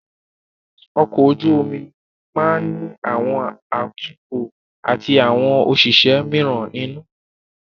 Ọkọ̀ ojú omi máa ní àwọn atukọ̀ atí àwọn òṣìṣẹ́ míràn nínú.